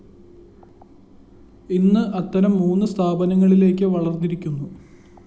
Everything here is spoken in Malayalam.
ഇന്ന് അത്തരം മൂന്നു സ്ഥാപനങ്ങളിലേക്കു വളര്‍ന്നിരിക്കുന്നു